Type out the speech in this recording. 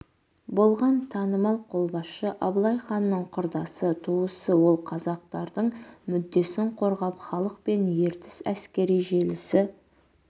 болған танымал қолбасшы абылайханның құрдасы туысы ол қазақтардың мүддесін қорғап халық пен ертіс әскери желісі